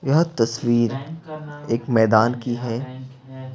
यह तस्वीर एक मैदान की है।